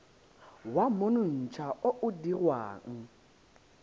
wa monontsha o o dirwang